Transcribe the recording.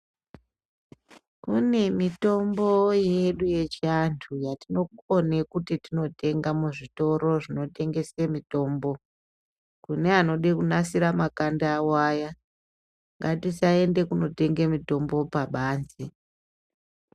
Kune mitombo yedu yechiandu yatinokone kuti tinotenga muzvitoro zvinotengesa mitombo kune anoda kunasira makanda awo aya ngatisaende kunotenga mitombo pabanze.